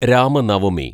Ramanavami